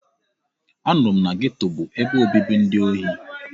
Anụrụ m na geto bụ ebe obibi ndị ohi.